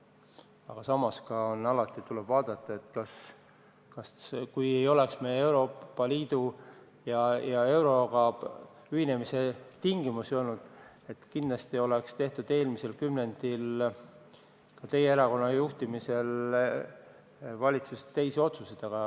Aga samas tuleb öelda, et kui meil polnuks Euroopa Liidu ja euroga ühinemisega tingimusi, siis kindlasti oleks eelmisel kümnendil teie erakonna juhtimisel valitsuses teisi otsuseid tehtud.